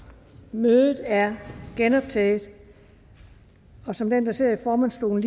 mødet er genoptaget som den der sidder i formandsstolen